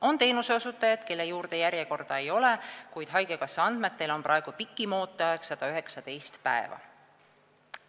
On teenuseosutajaid, kelle juurde järjekorda ei ole, kuid haigekassa andmetel on praegu pikim ooteaeg 119 päeva.